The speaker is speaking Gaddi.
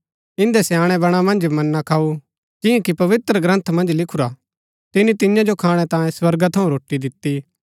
इन्दै स्याणैं बणा मन्ज मन्ना खाऊ जियां कि पवित्रग्रन्थ मन्ज लिखुरा तिनी तियां जो खाणै तांयें स्वर्गा थऊँ रोटी दिती